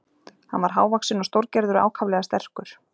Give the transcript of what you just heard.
Hann var hávaxinn og stórgerður og ákaflega sterkur.